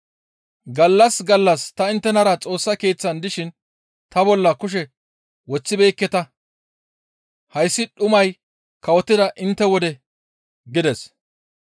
Gallas gallas ta inttenara Xoossa Keeththan dishin ta bolla kushe woththibeekketa; hayssi dhumay kawotida intte wode» gides.